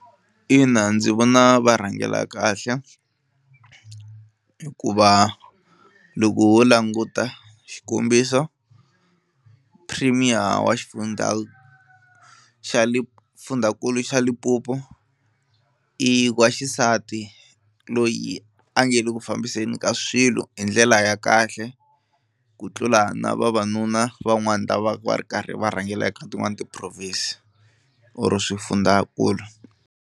Ina ndzi vona va rhangela kahle hikuva loko ho languta xikombiso premier wa xifundza xa le fundzhankulu xa Limpopo i wa xisati loyi a nge le ku fambiseni ka swilo hi ndlela ya kahle ku tlula na vavanuna van'wani lava va ri karhi va rhangela eka tin'wani ti-province or swifundzakulu.